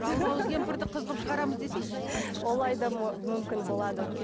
жалмауыз кемпірді қыз қылып шығарамыз десейші олай да мүмкін болады